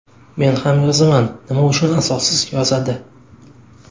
Men ham yozaman, nima uchun asossiz yozadi?